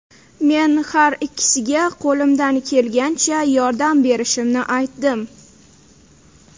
Men har ikkisiga qo‘limdan kelgancha yordam berishimni aytdim.